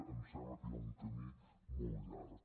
em sembla que hi ha un camí molt llarg